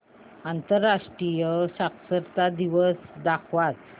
आंतरराष्ट्रीय साक्षरता दिवस दाखवच